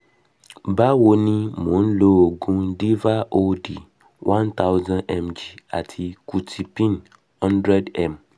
bawoni mo n lo ogun diva od-one thousand mg ati qutipin-hundred m